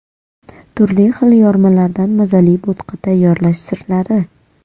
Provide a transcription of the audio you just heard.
Turli xil yormalardan mazali bo‘tqa tayyorlash sirlari .